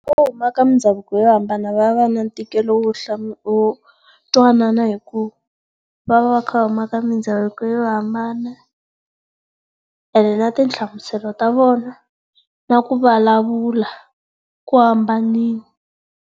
huma eka mundhavuko yo hambana va va na ntikelo wo wo twanana hi ku va va va kha va huma eka mindhavuko yo hambana, ene na ti nhlamuselo ta vona na ku vulavula ku hambanile.